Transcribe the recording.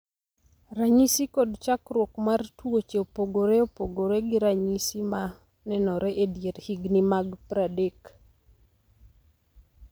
Ranyisi kod chakruok mar tuoche opogore opogore, gi ranyisi ma nenore e dier higni mag 30.